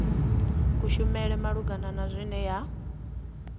kushumele malugana na zwine ya